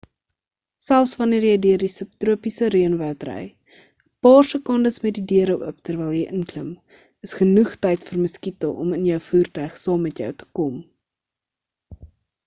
selfs wanneer jy deur die subtropiese reënwoud ry 'n paar sekondes met die deure oop terwyl jy inklim is genoeg tyd vir muskiete om in jou voertuig saam met jou te kom